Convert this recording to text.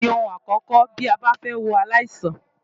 Àyẹ̀wò ni ohun àkókò bí a bá fẹ́ wo aláìsàn.